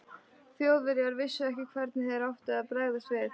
Þjóðverjar vissu ekki, hvernig þeir áttu að bregðast við.